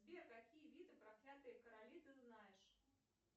сбер какие виды проклятые короли ты знаешь